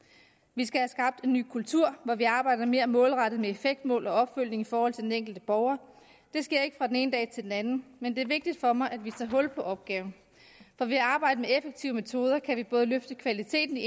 vi skal have skabt en ny kultur hvor vi arbejder mere målrettet med effektmål og opfølgning i forhold til den enkelte borger det sker ikke fra den ene dag til den anden men det er vigtigt for mig at vi tager hul på opgaven for ved at arbejde med effektive metoder kan vi både løfte kvaliteten i